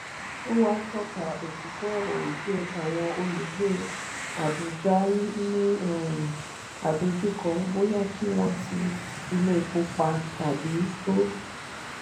ó wá tọ́ka òtítọ́ ọ̀rọ̀ wípé àwọn olùgbé abùjá ń ní um àdojúkọ bóyá kí wọ́n ti ilé-epo pa tàbí tó.